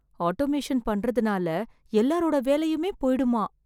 Automation பண்றதுனால எல்லாரோட வேலையுமே போயிடுமா.